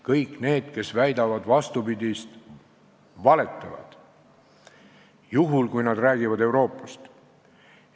Kõik need, kes väidavad vastupidist, valetavad, juhul kui nad räägivad võrdlusest Euroopaga.